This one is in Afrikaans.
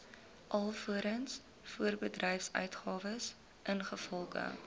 alvorens voorbedryfsuitgawes ingevolge